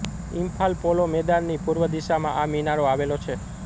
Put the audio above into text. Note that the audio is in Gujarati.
ઇમ્ફાલ પોલો મેદાનની પૂર્વ દિશામાં આ મિનારો આવેલો છે